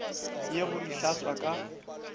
ye go di hlatswa ka